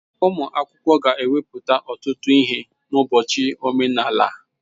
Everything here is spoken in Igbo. Ụmụ akwụkwọ ga-ewepụta ọtụtụ ihe n'ụbọchị omenala a.